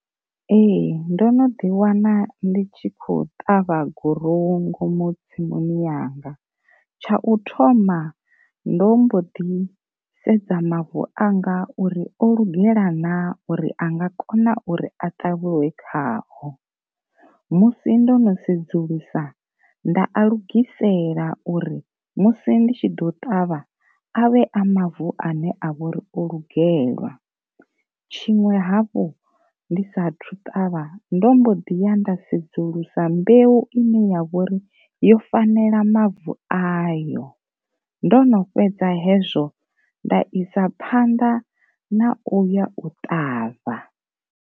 Ee ndo no ḓi wana ndi tshi kho ṱavha gurowu tsimuni yanga, tsha u thoma ndo mbo ḓi sedza mavu anga uri o lugela na uri anga kona uri a ṱavhiwe khao, musi ndo no sedzulusa nda a lugisela uri musi ndi tshi ḓo ṱavha avhe a mavu ane a vho ri o lugelwa, tshiṅwe hafhu ndi sathu ṱavha ndo mbo ḓi ya nda sedzulusa mbeu ine ya vhori yo fanela mavu ayo, ndo no fhedza hezwo nda isa phanḓa na uya u ṱavha.